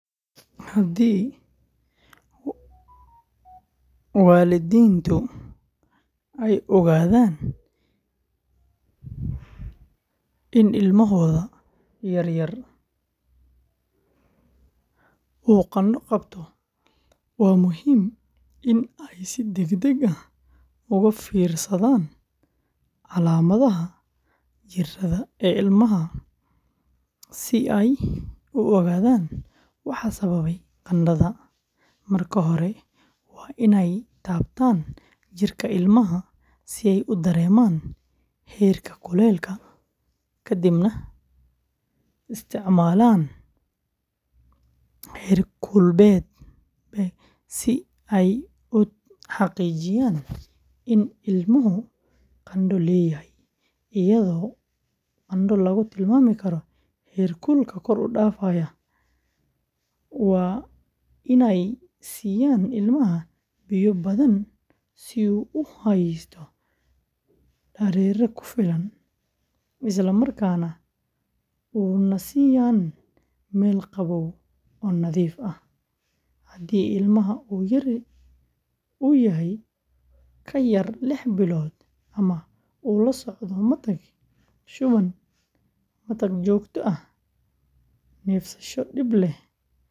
Haddii waalidiintu ay ogaadaan in ilmahooda yar uu qandho qabto, waa muhiim in ay si degdeg ah uga fiirsadaan calaamadaha jirada ee ilmaha si ay u ogaadaan waxa sababay qandhada. Marka hore, waa inay taabtaan jirka ilmaha si ay u dareemaan heerka kulaylka, kadibna isticmaalaan heerkulbeeg si ay u xaqiijiyaan in ilmuhu qandho leeyahay, iyadoo qandho lagu tilmaami karo heerkul kor u dhaafaya. Waa inay siiyaan ilmaha biyo badan si uu u haysto dareere ku filan, isla markaana u nasiiyaan meel qabow oo nadiif ah. Haddii ilmaha uu yahay ka yar lix bilood ama uu la socdo matag, shuban, matag joogto ah, neefsasho dhib leh, matag dhiig leh.